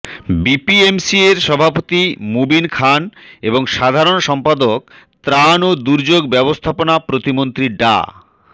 বিপিএমসিএর সভাপতি মুবিন খান এবং সাধারণ সম্পাদক ত্রাণ ও দুর্যোগ ব্যবস্থাপনা প্রতিমন্ত্রী ডা